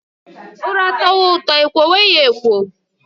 Ura tọwa ụtọ ekwowe ya ekwo